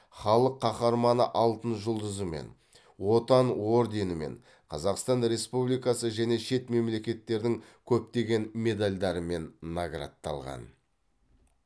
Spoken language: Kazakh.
халық қаһарманы алтын жұлдызымен отан орденімен қазақстан республикасы және шет мемлекеттердің көптеген медальдарымен наградталған